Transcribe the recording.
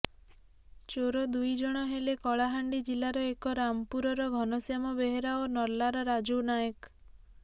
ଚୋର ଦୁଇ ଜଣ ହେଲେ କଳାହାଣ୍ଡି ଜିଲ୍ଲାର ଏମ ରାମପୁରର ଘନଶ୍ୟାମ ବେହେରା ଓ ନର୍ଲାର ରାଜୁ ନାୟକ